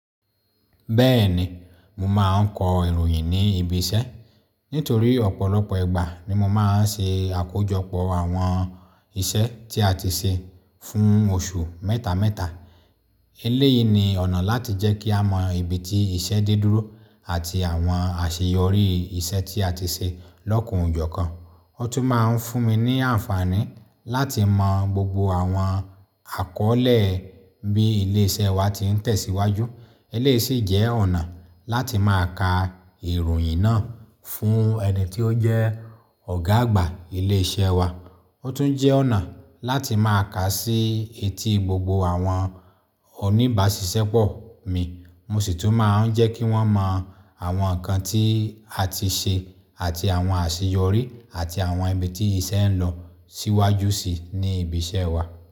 Bẹ́ẹ̀ni, mo máa ń kọ ìròyìn ní ibi iṣẹ́. Nítorí ọ̀pọ̀lọpọ̀ ìgbà ni mo máa ń ṣe àkójọpọ̀ àwọn iṣẹ́ tí a ti ṣe fún oṣù mẹ́ta mẹ́ta. Eléyìí ni ọ̀nà láti jẹ́ kí a mọ ibi tí iṣẹ́ dídúró àti àwọn àṣeyọrí iṣẹ́ tí a ti ṣe lọ́kan ọ jo kan. Ó tún máa ń fún mi ní àǹfààní láti mọ gbogbo àwọn àkọ́lé bí ilé iṣẹ́ wa ti ń tẹ̀síwájú. Eléyìí sì jẹ́ ọ̀nà láti máa ka ìròyìn náà fún ẹni tí ó jẹ́ ọ̀gá àgbà ilé iṣẹ́ wa. Ó tún jẹ́ ọ̀nà láti máa kà sí etí gbogbo àwọn oníbàáṣìṣẹ́ pọ̀ mi. Mo sì tún máa ń jẹ́ kí wọ́n mọ àwọn nǹkan tí a ti ṣe àti àwọn àṣeyọrí àti àwọn ibi tí iṣẹ́ ń lọ síwájú sí ní ibi iṣẹ́ wa.